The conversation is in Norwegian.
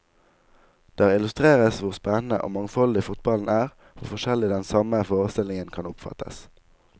Der illustreres hvor spennende og mangfoldig fotballen er, hvor forskjellig den samme forestillingen kan oppfattes.